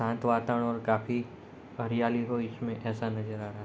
शांत वातावरण और काफी हरियाली है इसमें ऐसा नजर आ रहा है।